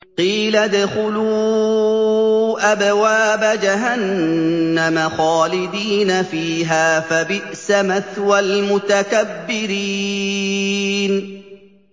قِيلَ ادْخُلُوا أَبْوَابَ جَهَنَّمَ خَالِدِينَ فِيهَا ۖ فَبِئْسَ مَثْوَى الْمُتَكَبِّرِينَ